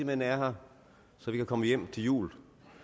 man er her så vi kan komme hjem til jul